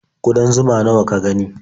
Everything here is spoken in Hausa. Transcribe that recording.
Ƙudan zuma nawa ka gani?